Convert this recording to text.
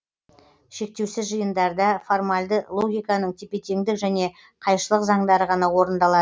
шектеусіз жиындарда формальды логиканың тепе теңдік және қайшылық заңдары ғана орындалады